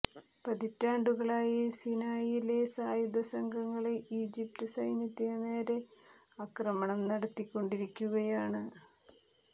പതിറ്റാണ്ടുകളായി സിനായിലെ സായുധ സംഘങ്ങള് ഈജിപ്ത് സൈന്യത്തിന് നേരെ ആക്രമണം നടത്തിക്കൊണ്ടിരിക്കുകയാണ്